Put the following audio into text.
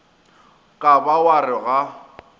ka ba wa re ga